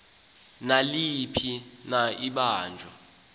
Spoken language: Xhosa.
naliphi na ibanjwa